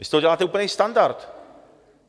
Vy z toho děláte úplný standard!